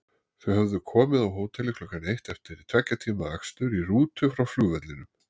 Þau höfðu komið á hótelið klukkan eitt eftir tveggja tíma akstur í rútu frá flugvellinum.